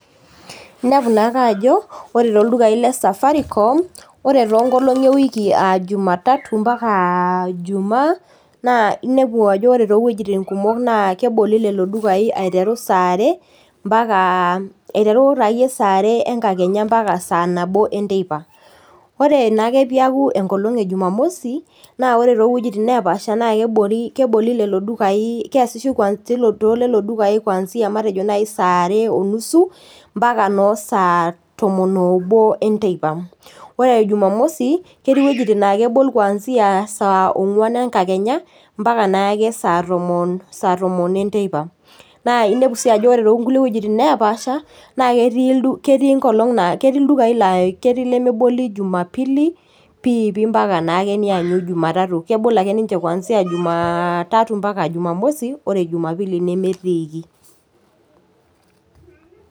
Inepu naake aajo oore toldukai le Safaricom, oore tonkolong'i e wiki aa Jumatatu mpaka jumaa, naa inepu aajo oore too wuejitin kumok naa keboli lelo dukai aiteru saa aare, aiteru saa aare ankakenya mpaka saa aare enteipa. Oore naa ake peyie eiaku enkolong e Jumamosi, naa oore towuejitin nepaasha naa keboli lelo dukai keasishoi tolelo dulai matejo naaji saa aare oo nusu, mpaka noo sa tomon oobo enteipa. Oore jumamosi, ketii iwuejitin naa kebol kwanzia saa ong'wan enkakenya mpaka naake saa tomon enteipa. Naa inepu sii aajo oore tonkulie wuejitin nepaasha, naa ketii ildukai lemeboli Jumapili, pii pii mpaka naake nianyu Jumatatu. Kebol aake ninche kuanzia jumatatua mpaka jumamosi oore jumapili nemetiiki.